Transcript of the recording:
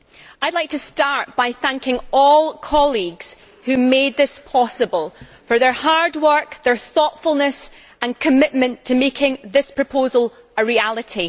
I would like to start by thanking all colleagues who made this possible for their hard work, their thoughtfulness and commitment to making this proposal a reality.